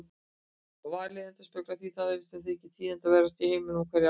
Valið endurspeglar því það sem þykir tíðindaverðast í heiminum á hverju ári.